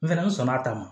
N fɛnɛ n sɔnna a ta ma